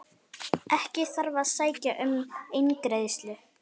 Ekki þarf að sækja um eingreiðslu